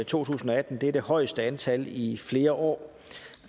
to tusind og atten det er det højeste antal i i flere år